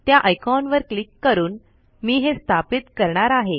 त्या आयकॉन वर क्लिक करून मी हे स्थापित करणार आहे